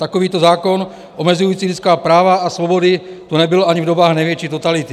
Takovýto zákon omezující lidská práva a svobody tu nebyl ani v dobách největší totality.